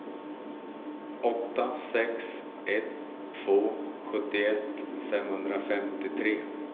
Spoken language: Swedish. åtta sex ett två sjuttioett femhundrafemtiotre